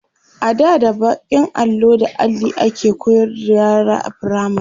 ada da bakin allo da Alli ake koyarwa yara a firamare